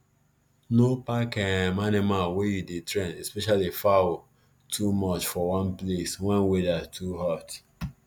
no pack um animal wey you dey train especially fowl too much for one place wen weather too hot